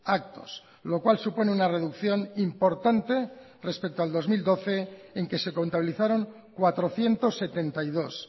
actos lo cual supone una reducción importante respecto a dos mil doce en que se contabilizaron cuatrocientos setenta y dos